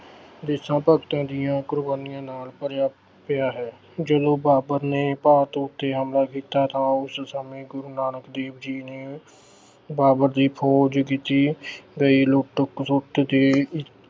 ਦੇਸ਼ਾਂ-ਭਗਤਾਂ ਦੀਆਂ ਕੁਰਬਾਨੀਆਂ ਨਾਲ ਭਰਿਆ ਅਹ ਪਿਆ ਹੈ। ਜਦੋਂ ਬਾਬਰ ਨੇ ਭਾਰਤ ਉੱਤੇ ਹਮਲਾ ਕੀਤਾ ਤਾਂ ਉਸ ਸਮੇਂ ਗੁਰੂ ਨਾਨਕ ਦੇਵ ਜੀ ਨੇ ਬਾਬਰ ਦੀ ਫੌਜ ਜਿੱਤੀ ਗਈ ਲੁੱਟ-ਖਸੁੱਟ ਦੀ